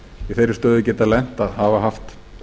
í þeirri stöðu geta lent að hafa haft